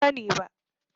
Ban sani ba.